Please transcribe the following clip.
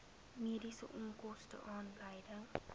mediese onkoste aanleiding